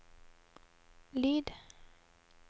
lyd